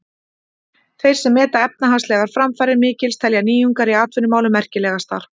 Þeir sem meta efnahagslegar framfarir mikils telja nýjungar í atvinnumálum merkilegastar.